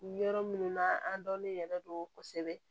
Yɔrɔ minnu na an dɔnnen yɛrɛ do kosɛbɛ